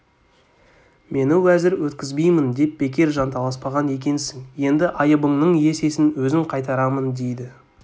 мені уәзір еткізбеймін деп бекер жанталаспаған екенсің енді айыбыңның есесін өзім қайтарамындейді